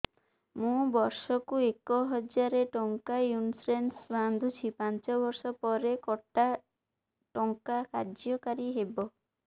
ମୁ ବର୍ଷ କୁ ଏକ ହଜାରେ ଟଙ୍କା ଇନ୍ସୁରେନ୍ସ ବାନ୍ଧୁଛି ପାଞ୍ଚ ବର୍ଷ ପରେ କଟା ଟଙ୍କା କାର୍ଯ୍ୟ କାରି ହେବ